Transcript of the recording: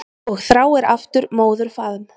Og þráir aftur móðurfaðm.